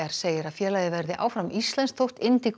segir að félagið verði áfram íslenskt þótt